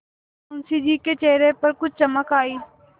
मुंशी जी के चेहरे पर कुछ चमक आई